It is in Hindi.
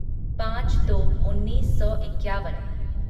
पाँच दो उन्नीस सौ इक्यावन